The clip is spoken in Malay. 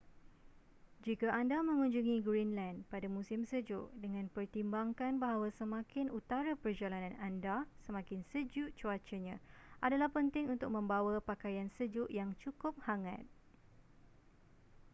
jika anda mengunjungi greenland pada musim sejuk dengan pertimbangkan bahawa semakin utara perjalanan anda semakin sejuk cuacanya adalah penting untuk membawa pakaian sejuk yang cukup hangat